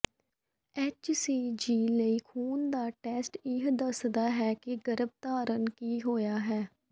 HCG ਲਈ ਖੂਨ ਦਾ ਟੈਸਟ ਇਹ ਦੱਸਦਾ ਹੈ ਕਿ ਗਰਭ ਧਾਰਨ ਕੀ ਹੋਇਆ ਹੈ